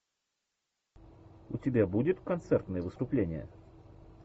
у тебя будет концертное выступление